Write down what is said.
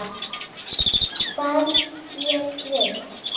Hvað ég vil.